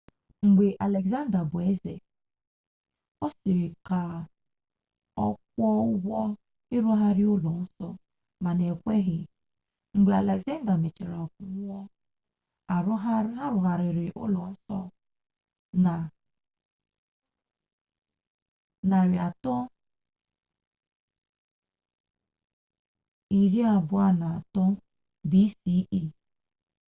mgbe alexander bụ eze ọ sị ka ọ kwụọ ụgwọ ịrụgharị ụlọ nsọ mana e kweghị mgbe alexander mechara nwụọ a rụgharịrị ụlọ nsọ na 323 bce